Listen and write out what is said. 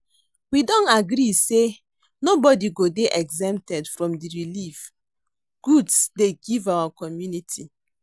We don agree say nobody go dey exempted from the relieve goods dey give our community